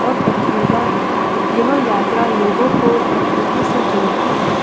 और पथरीला है यह यात्रा लोगों को प्रकृति से जोड़ती है।